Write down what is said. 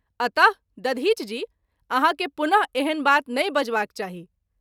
अत: दधिच जी! आहाँ के पुन: एहन बात नहिं बजबाक चाही।